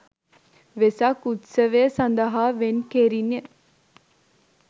වෙසක් උත්සවය සඳහා වෙන් කෙරිණ